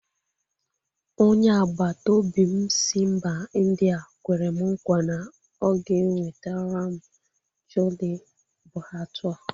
Onye agbataobi m si mba Indịa kwere m nkwa na o ga-enwetara m 'chole bhature'.